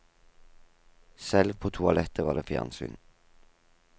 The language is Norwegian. Selv på toalettet var det fjernsyn.